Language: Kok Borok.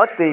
o tui.